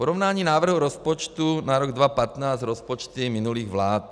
Porovnání návrhu rozpočtu na rok 2015 s rozpočty minulých vlád.